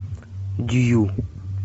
дью